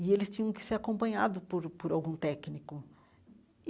E eles tinham que ser acompanhados por o por algum técnico.